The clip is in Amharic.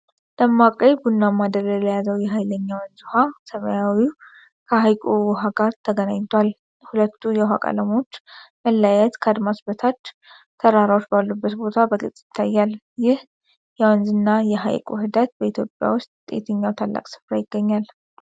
ደማቅ ቀይ ቡናማ ደለል የያዘው የኃይለኛ ወንዝ ውሃ ሰማያዊው ከሐይቁ ውሃ ጋር ተገናኝቷል። የሁለቱ የውሃ ቀለሞች መለያየት ከአድማስ በታች ተራራዎች ባሉበት ቦታ በግልጽ ይታያል። ይህ የወንዝና የሐይቅ ውህደት በኢትዮጵያ ውስጥ የትኛው ታላቅ ስፍራ ይገኛል?